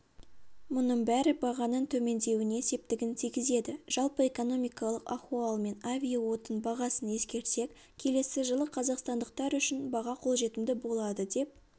мұның бәрі бағаның төмендеуіне септігін тигізеді жалпы экономикалық ахуал мен авиаотын бағасын ескерсек келесі жылы қазақстандықтар үшін баға қолжетімді болады деп